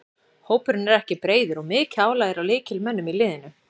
Hópurinn er ekki breiður og mikið álag er á lykilmönnunum í liðinu.